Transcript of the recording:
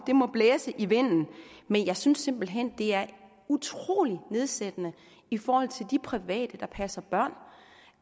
må blæse i vinden men jeg synes simpelt hen det er utrolig nedsættende i forhold til de private der passer børn